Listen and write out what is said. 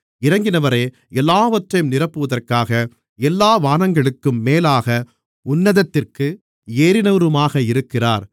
இறங்கினவரே எல்லாவற்றையும் நிரப்புவதற்காக எல்லா வானங்களுக்கும் மேலாக உன்னதத்திற்கு ஏறினவருமாக இருக்கிறார்